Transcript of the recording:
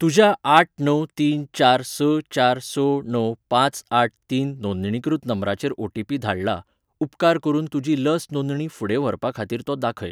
तुज्या आठ णव तीन चार स चार स णव पांच आठ तीन नोंदणीकृत क्रमांकाचेर ओटीपी धाडला, उपकार करून तुजी लस नोंदणी फुडें व्हरपा खातीर तो दाखय.